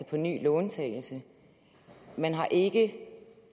på ny låntagelse man har ikke